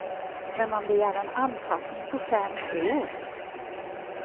Men man begär en anpassning på fem år.